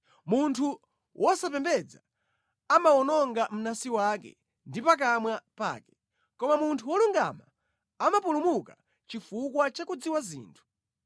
Munthu wosapembedza amawononga mnansi wake ndi pakamwa pake, koma munthu wolungama amapulumuka chifukwa cha kudziwa zinthu.